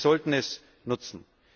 Wir sollten es nutzen.